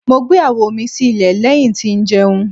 Mo gbe awo mi si ilẹ lẹhin ti njẹun